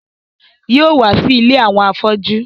Yóò wá sí ilé àwọn afọ́jú